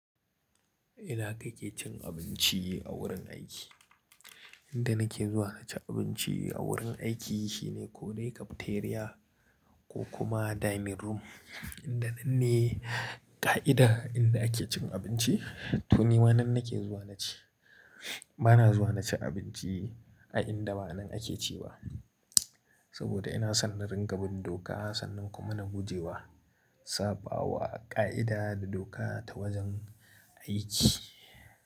Ina kake cin abinci a wurin aiki? Inda nake zuwa naci abinci a wurin aiki shine ko dai cafeteria ko kuma dining room. Inda nan ne ƙa'ida inda ake cin abinci, to ni wannan nake zuwa naci. Bana zuwa naci abinci a inda ba nan ake ci ba, saboda ina san na ringa bin doka sannan kuma na guje wa saɓawa ƙa'ida da doka ta wajen aiki.